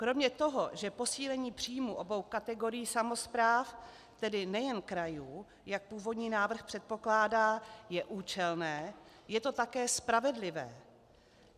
Kromě toho, že posílení příjmů obou kategorií samospráv, tedy nejen krajů, jak původní návrh předpokládá, je účelné, je to také spravedlivé.